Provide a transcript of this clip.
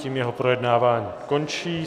Tím jeho projednávání končí.